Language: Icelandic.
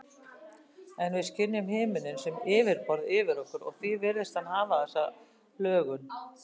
En við skynjum himininn sem yfirborð yfir okkur og því virðist hann hafa þessa lögun.